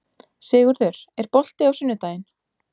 Sigurður, er bolti á sunnudaginn?